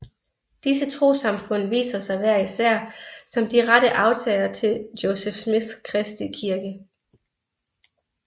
Disse trossamfund ser sig hver især som de rette arvtagere til Joseph Smiths kristi kirke